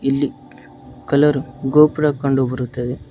ಇಲ್ಲಿ ಕಲರ್ ಗೋಪುರ ಕಂಡು ಬರುತ್ತದೆ.